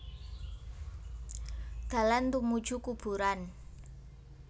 Dalan tumuju kuburan